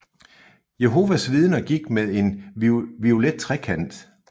Jehovas Vidner gik med en violet trekant